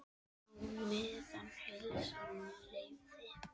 Á meðan heilsan leyfði.